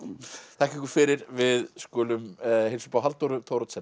þakka ykkur fyrir við skulum heilsa upp á Halldóru Thoroddsen